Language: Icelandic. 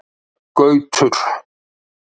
Gautur